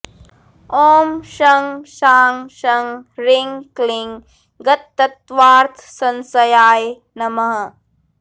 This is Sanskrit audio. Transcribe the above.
ॐ शं शां षं ह्रीं क्लीं गततत्त्वार्थसंशयाय नमः